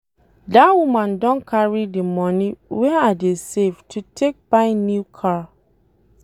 Dat woman don carry the money wey I dey save to take buy new car